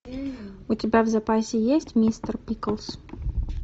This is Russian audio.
у тебя в запасе есть мистер пиклз